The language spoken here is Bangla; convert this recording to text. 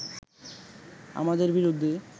আমাদের বিরুদ্ধে